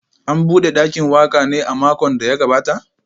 An bude dakin waka ne a makon da ya gabata?